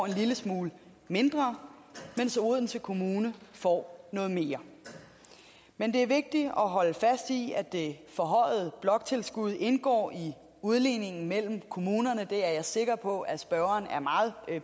en lille smule mindre mens odense kommune får noget mere men det er vigtigt at holde fast i at det forhøjede bloktilskud indgår i udligningen mellem kommunerne det er jeg sikker på at spørgeren er meget